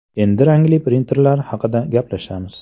Endi rangli printerlar haqida gaplashamiz.